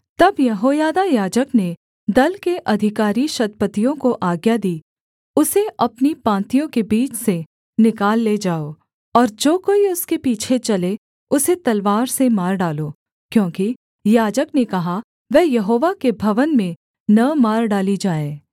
तब यहोयादा याजक ने दल के अधिकारी शतपतियों को आज्ञा दी उसे अपनी पाँतियों के बीच से निकाल ले जाओ और जो कोई उसके पीछे चले उसे तलवार से मार डालो क्योंकि याजक ने कहा वह यहोवा के भवन में न मार डाली जाए